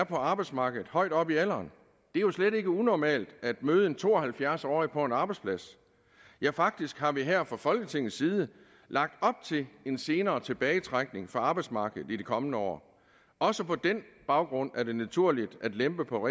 på arbejdsmarkedet højt op i alderen det er jo slet ikke unormalt at møde en to og halvfjerds årig på en arbejdsplads ja faktisk har vi her fra folketingets side lagt op til en senere tilbagetrækning fra arbejdsmarkedet i de kommende år også på den baggrund er det naturligt at lempe på